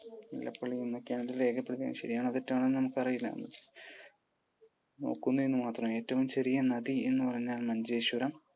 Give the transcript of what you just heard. ലേഖപ്പെടുത്തിയിരിക്കുന്നത് ശരിയാണോ തെറ്റാണൊന്ന് നമുക്കറിയില്ല. നോക്കുന്നു എന്ന് മാത്രം. ഏറ്റവും ചെറിയ നദി എന്ന് പറഞ്ഞാൽ മഞ്ചേശ്വരം.